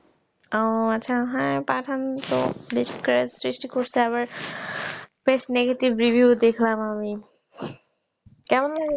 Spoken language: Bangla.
ও আচ্ছা হ্যা পাঠান তো বেশ craze সৃষ্টি করছে আবার বেশ negative review দেখলাম আমিI কেমন